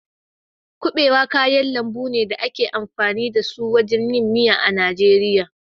Kuɓewa kayan lambu ne da ake amfani da su wajen yin miya a Najeriya.